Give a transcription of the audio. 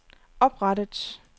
oprettet